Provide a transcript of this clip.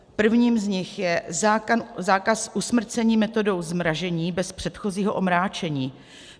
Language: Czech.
Prvním z nich je zákaz usmrcení metodou zmrazení bez předchozího omráčení.